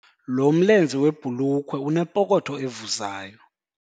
Lo mlenze webhulukhwe unepokotho evuzayo.